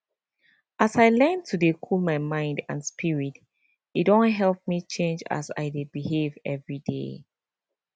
as i learn to dey cool my mind and spirit e don help me change as i dey behave everyday